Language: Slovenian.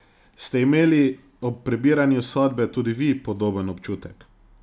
Ste imeli ob prebiranju sodbe tudi vi podoben občutek?